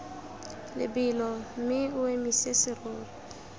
lebelo mme o emise serori